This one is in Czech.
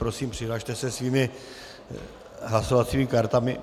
Prosím, přihlaste se svými hlasovacími kartami.